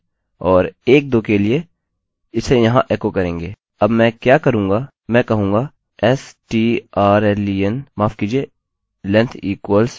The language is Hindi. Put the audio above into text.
अब मैं क्या करूँगा मैं कहूँगा strlen माफ़ कीजिये length equals strlen of string length equals strlen of string